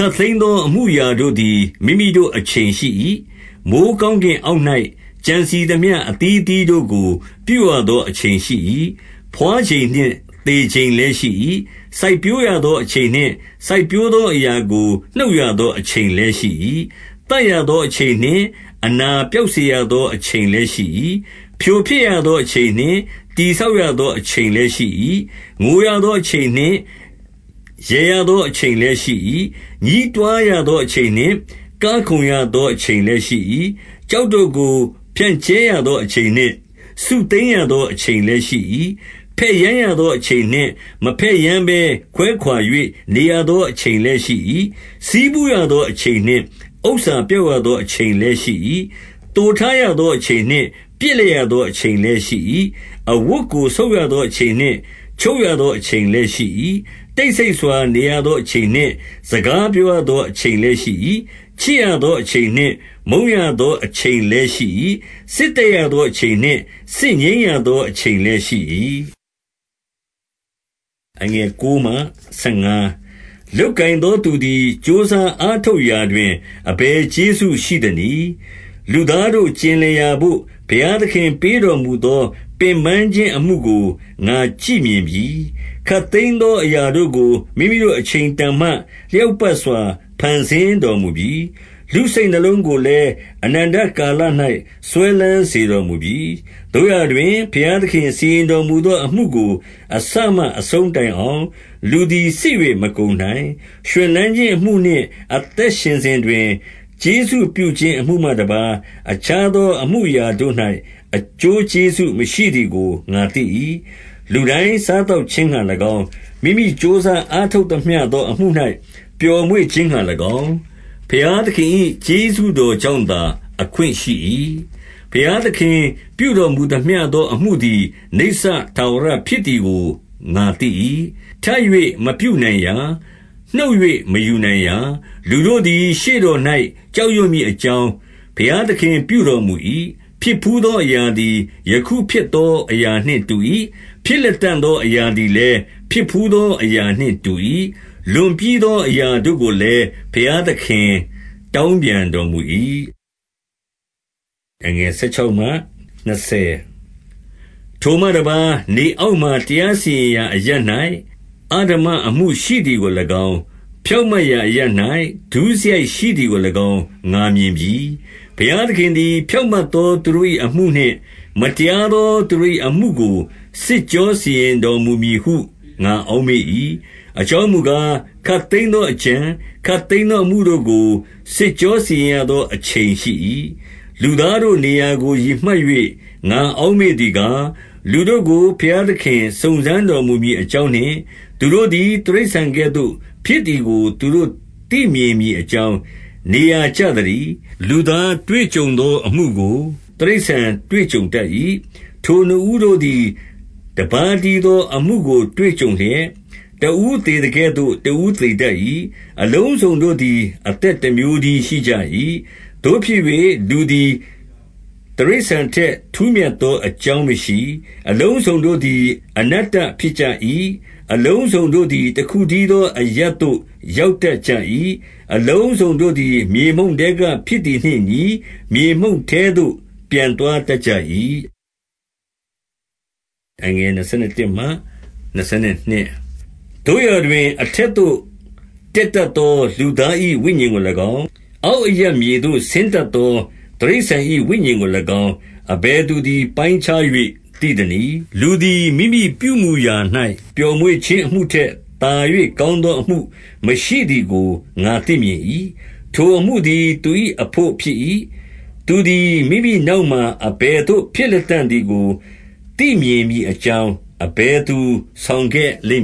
ပ်သိမ်းသော အမှုအရာတို့သည် မိမိတို့အချိန် ရှိ၏။ မိုဃ်းကောင်းကင်အောက်၌ ကြံစည်သမျှ အသီးသီး ကို့ကို ပြုရသောအချိန်ရှိ၏။ ဘွားချိန်နှင့်သေချိန်လည်းရှိ၏။ စိုက်ပျိုးရသော အချိန်နှင့် စိုက်ပျိုးရသောအရာကို နှုတ်ရသေအချိန် လည်း ရှိ၏။ သတ်ရသောအချိန်နှင့် အနာပျောက်စေရသော အချိန်လည်း ရှိ၏။ ဖြိုဖျက်ရသော အချိန်နှင့် တည် ဆောက်ရသော အချိန်လည်း ရှိ၏။ ငိုရသောအချိန်နှင့် ရယ်ရသောအချိန်လည်းရှိ၏။ ညည်းတွားရသောအချိန်နှင့် ကခုန်ရသော အချိန်လည်း ရှိ၏။ ကျောက်တို့ကို ဖြန့်ကြဲရသောအချိန်နှင့် စုသိမ်းရ သော အချိန်လည်း ရှိ၏။ ဘက်ယမ်းရသောအချိန်နှင့်၊ မဘက်ယမ်းဘဲ ခွဲခွါ၍ နေရသောအချိန်လည်း ရှိ၏။ ဆည်းဖူးရသောအချိန်နှင့် ဥစ္စာပျောက်ရသော အချိန်လည်းရှိ၏။ သိုထားရသောအချိန်နှင့် ပစ်လိုက် ရသောအချိန်လည်းရှိ၏။ အဝတ်ကို ဆုတ်ရသောအချိန်နှင့် ချုပ်ရသော အချိန်လည်းရှိ၏။ တိတ်ဆိတ်စွာနေသောအချိန်နှင့်၊ စကားပြောရသော အချိန်လည်းရှိ၏။ ချစ်ရသောအချိန်နှင့် မုန်းရသောအချိန်လည်း ရှိ၏။ စစ်တိုက်သောအချိန်နှင့် စစ်ငြိမ်းရသောအချိန် လည်း ရှိ၏။ လုပ်ကိုင်သောသူသည် ကြိုးစားအားထုတ်ရာ တွင်၊ အဘယ်ကျေးဇူးရှိသနည်း။ လူသားတို့ ကျင်လည်ရာဘို့ ဘုရားသခင် ပေးတော်မူသော ပင်ပန်းခြင်းအမှုကို ငါကြည့်မြင်ပြီ။ ခပ်သိမ်းသောအရာတို့ကို မိမိတို့အချိန်တန်မှ၊ လျောက်ပတ်စွာ ဖန်ဆင်းတော်မူပြီ။ လူစိတ်နုလုံးကို လည်း အနန္တကာလ၌ စွဲလန်းစေတော်မူပြီ။ သို့ရာတွင်၊ ဘုရားသခင်စီရင်တော်မူသောအမှုကို၊ အစမှအဆုံး တိုင်အောင်၊ လူသည် စစ်၍မကုန်နိုင်။ ရွှင်လန်းခြင်းအမှုနှင့် အသက်ရှင်စဉ်တွင် ကျေးဇူး ပြုခြင်း အမှုမှတပါး အခြားသော အမှုအရာတို့၌၊ အကျိုး ကျေးဇူးမရှိသည်ကို ငါသိ၏။ လူတိုင်းစားသောက်ခြင်းငှါ၎င်း၊ မိမိကြိုးစား အားထုတ်သမျှသောအမှု၌ ပျော်မွေ့ခြင်းငှါ၎င်း၊ ဘုရားသခင် ၏ ကျေးဇူးတော်ကြောင့်သာ အခွင့်ရှိ၏။ ဘုရားသခင်ပြုတော်မူသမျှသောအမှုသည် နိစ္စ ထာဝရဖြစ်သည်ကို ငါသိ၏။ ထပ်၍မပြုနိုင်ရာ။ နှုတ်၍ မယူနိုင်ရာ။ လူတို့သည် ရှေ့တော်၌ ကြောက်ရွံ့မည် အကြောင်း၊ ဘုရားသခင်ပြုတော်မူ၏။ ဖြစ်ဘူးသောအရာသည် ယခုဖြစ်သောအရာနှင့် တူ၏။ ဖြစ်လတံ့သောအရာသည်လည်း၊ ဖြစ်ဘူးသော အရာနှင့်တူ။ လွန်ပြီးသောအရာတို့ကိုလည်း ဘုရားသခင် တောင်းပြန်တော်မူ၏။ ထိုမှတပါး၊ နေအောက်မှာ တရားစီရင်ရာအရပ် ၌ အဓမ္မအမှုရှိသည်ကို၎င်း၊ ဖြောင့်မတ်ရာအရပ်၌ ဒုစရိုက် ရှိသည်ကို၎င်း ငါမြင်ပြီ။ ဘုရားသခင်သည် ဖြောင့်မတ်သောသူတို့၏အမှု နှင့်၊ မတရားသောသူတို့၏အမှုကို စစ်ကြောစီရင်တော်မူ မည်ဟု ငါအောက်မေ့၏။ အကြောင်းမူကား၊ ခပ်သိမ်း သောအကြံ၊ ခပ်သိမ်းသော အမှုတို့ကို စစ်ကြောစီရင် ရသော အချိန်ရှိ၏။ လူသားတို့နေရာကို ရည်မှတ်၍ ငါအောက်မေ့ သည်ကား၊ လူတို့ကို ဘုရားသခင် စုံစမ်းတော်မူမည် အကြောင်းနှင့်၊ သူတို့သည် တိရစ္ဆာန်ကဲ့သို့ဖြစ်သည်ကို သူတို့သိမြင်မည်အကြောင်း၊ နေရာကျသတည်း၊ လူသားတွေ့ကြုံသော အမှုကို တိရစ္ဆာန် တွေ့ကြုံတတ်၏။ ထိုသူနှစ်ဦးတို့သည် တပါးတည်းသောအမှုကို တွေ့ကြုံလျက်၊ တဦးသေသကဲ့သို့ တဦးသေတတ်၏။ အလုံးစုံတို့သည် အသက်တမျိုးတည်းရှိကြ၏။ သို့ဖြစ်၍၊ လူသည်တိရစ္ဆာန်ထက် ထူးမြတ်သော အကြောင်းမရှိ။ အလုံးစုံတို့သည် အနတ္တဖြစ်ကြ၏။ အလုံးစုံတို့သည် တခုတည်းသောအရပ်သို့ ရောက်တတ်ကြ၏။ အလုံးစုံတို့သည် မြေမှုန့်ထဲကဖြစ် သည်နှင့်အညီ၊ မြေမှုန့်ထဲသို့ ပြန်သွားတတ်ကြ၏။ သို့ရာတွင်၊ အထက်သို့တက်သော လူသား၏ ဝိညာဉ်ကို၎င်း၊ အောက်အရပ်မြေသို့ဆင်းတတ်သော တိရစ္ဆာန်၏ဝိညာဉ်ကို၎င်း၊ အဘယ်သူသည် ပိုင်းခြား၍ သိသနည်း။ လူသည်မိမိပြုမူရာ၌ ပျော်မွေ့ခြင်းအမှုထက် သာ၍ ကောင်းသောအမှုမရှိသည်ကို ငါသိမြင်၏။ ထိုအမှုသည်သူ၏ အဘို့ဖြစ်၏။ သူသည် မိမိနောက်မှာ အဘယ်သို့ဖြစ်လတံ့သည်ကို သိမြင်မည်အကြောင်း၊ အဘယ်သူဆောင်ခဲ့လိမ့်